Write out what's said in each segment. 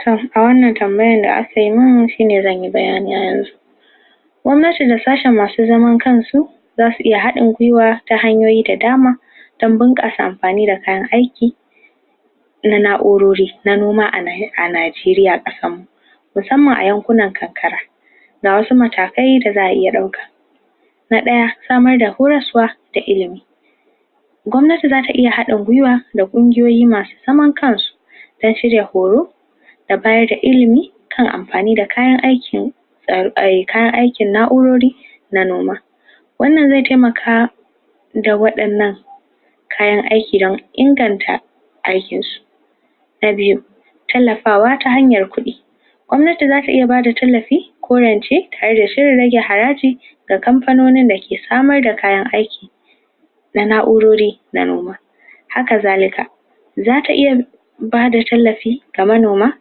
toh, a wannan tambaya da aka yi mun, shi ne zan ye banyane a yanzu Gwamnati da sassen masu zaman kan su za su iya hadin gwiwa ta hanyoyi da dama amfani da kayan aiki da na'urori na noma a Najeriya, kasan mu mussamma a yankuna kakkara na daya, samar da horaswa ta illimi. gwamnati za ta iya hadin gwiwa da kungiyoyi masu zaman kan su ta shirya horo, da bayar da illimi kan amfani da kayan aikin kayan aikin na'urori manoma. Wannan ze taimaka da waddanan kayan aikin da inganta aikin su. Na biyu, tallafawa ta hanyar kudi, gwamnati za ta iya ba da tallafi ko yace haraji da kamfanonin da ke samar da kayan aiki na na'urori manoma, haka zalita zata iya ba da tallafi ga manoma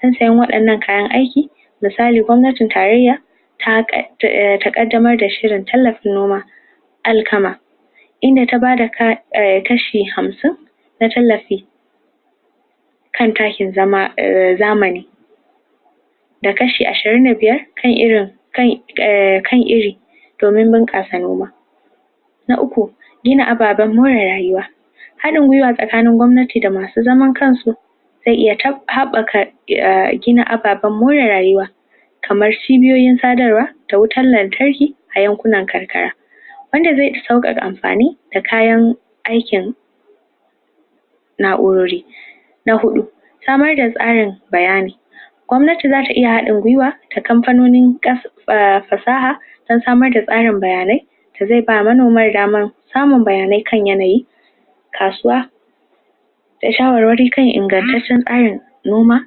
waddanan kayan aiki misali, gwamnatin tareya ta kadamar da shirin tallafa noma alkama, inda ta ba da tashe hamsin na tallafi kan takin zama zamani da kashi ashirin da biyar, kai irin kan iri domin bunkasa noma. Na uku, ababan more rayuwa Hadin gwiwa tsakanin gwamnati da masu zaman kan su ze iya habbaka gina abbaban more rayuwa kamar cibiyoyin tsabarwa ta wutar lantarki a yankunan kaikaya wanda ze yi saukan amfani da kayan aikin na'urori. Na hudu, samar da tsarin bayyani Gwamnati za ta iya hadin gwiwa da kamfanonin fasaha ta tsamar da karin bayanai da ze ba manomai damar samun bayanai kan yanayi, kasuwa, ta shawarwari kan inganttacen kayan noma,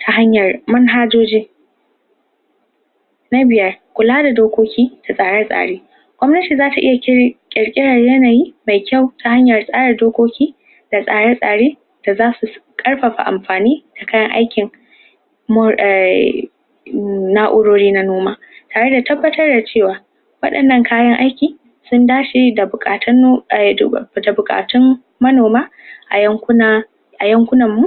ta hanyar manhajoji Na biyar, kula da dokoki da tsare-tsare Gwamnati za ta iya cire, kirkeren yanayi mai kyau ta hanyan tsara dokoki, da tsare-tsare da za su karfafa amfani da kayan aikin ai' na'urori na noma tare da tabbatarwa da cewa wadannan kayan aiki, tun da shi da bukatun manoma a yankuna a yankunan mu